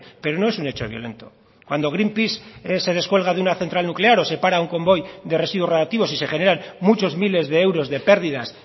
pero no es un hecho violento cuando green peace se descuelga de una central nuclear o se para un convoy de residuos radiactivos y se generan muchos miles de euros de pérdidas